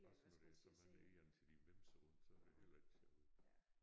Også når der er så mange egern til de vimser rundt så det heller ikke sjovt